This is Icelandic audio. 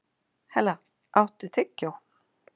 Hella, áttu tyggjó?